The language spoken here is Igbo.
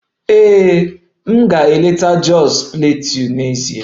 Ee, m ga-eleta Jos Plateau n'ezie